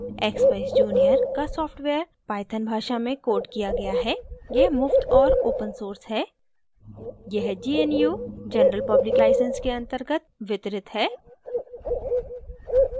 * expeyes junior का software python भाषा में coded किया गया है